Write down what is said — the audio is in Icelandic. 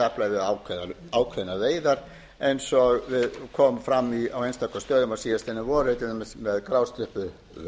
meðafla eða við ákveðnar veiðar eins og kom fram á einstaka stöðum á síðastliðnu vori með grásleppuveiðum